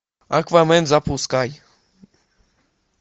аквамен запускай